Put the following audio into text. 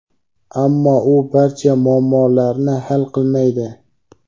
ammo u barcha muammolarni hal qilmaydi.